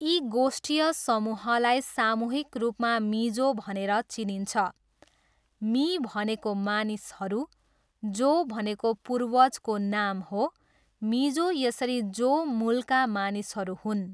यी गोष्ठीय समूहलाई सामूहिक रूपमा मिजो भनेर चिनिन्छ। मी भनेको मानिसहरू, जो भनेको पूर्वजको नाम हो, मिजो यसरी जो मूलका मानिसहरू हुन्।